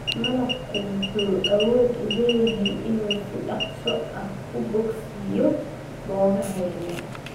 Malabku wuxuu awood u leeyahay inuu si dhakhso ah u bogsiiyo boogaha yaryar.